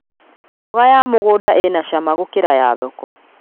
Mboga ya mũgũnda ĩna cama gũkĩra ya thoko